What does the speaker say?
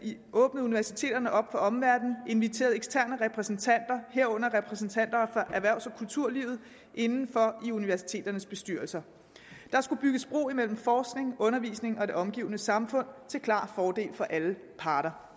universiteterne op for omverdenen inviterede eksterne repræsentanter herunder repræsentanter fra erhvervs og kulturlivet inden for i universiteternes bestyrelser der skulle bygges bro imellem forskning undervisning og det omgivende samfund til klar fordel for alle parter